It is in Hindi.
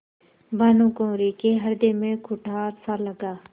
भानुकुँवरि के हृदय में कुठारसा लगा